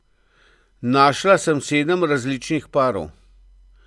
Našla sem sedem različnih parov.